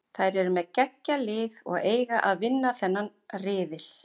Þær eru með geggjað lið og eiga að vinna þennan riðil.